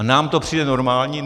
A nám to přijde normální?